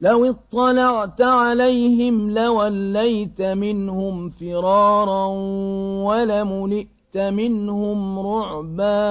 لَوِ اطَّلَعْتَ عَلَيْهِمْ لَوَلَّيْتَ مِنْهُمْ فِرَارًا وَلَمُلِئْتَ مِنْهُمْ رُعْبًا